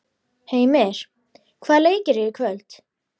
Heimir, hvaða leikir eru í kvöld?